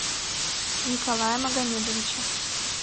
николая магомедовича